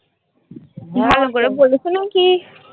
ভালো করে বলেছো নাকি?